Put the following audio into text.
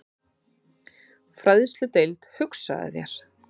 Fræðsludeild, hugsaðu þér!